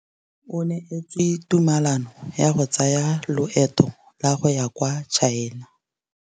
O neetswe tumalanô ya go tsaya loetô la go ya kwa China.